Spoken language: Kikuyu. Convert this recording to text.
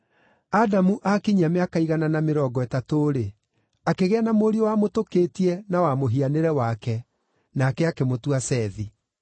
Adamu aakinyia mĩaka igana na mĩrongo ĩtatũ-rĩ, akĩgĩa na mũriũ wamũtũkĩtie na wa mũhianĩre wake; nake akĩmũtua Sethi.